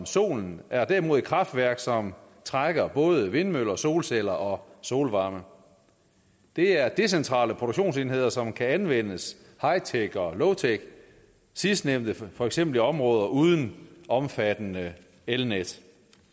sol er derimod kraftværk som trækker både vindmøller og solceller og solvarme det er decentrale produktionsenheder som kan anvendes hightech og lowtech sidstnævnte for eksempel i områder uden omfattende elnet